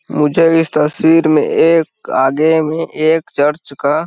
मुझे इस तस्वीर में एक आगे में एक चर्च का --